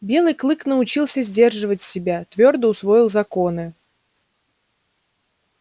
белый клык научился сдерживать себя твёрдо усвоил законы